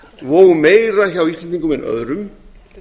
og meira hjá íslendingum en öðrum